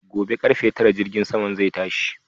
Gobe karfe Tara jirgin saman zai tashi